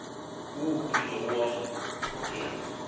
wo o kilego wa mphokela